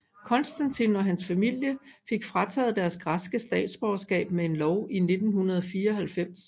Konstantin og hans familie fik frataget deres græske statsborgerskab med en lov af 1994